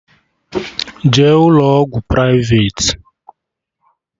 Jee ụlọ ọgwụ privati!